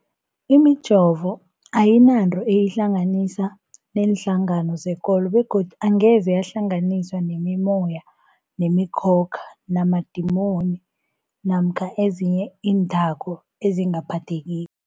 Imijovo ayinanto eyihlanganisa neenhlangano zekolo begodu angeze yahlanganiswa nemimoya, nemi khokha, namadimoni namkha ezinye iinthako ezingaphathekiko.